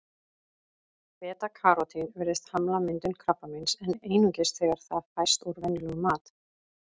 Beta-karótín virðist hamla myndun krabbameins, en einungis þegar það fæst úr venjulegum mat.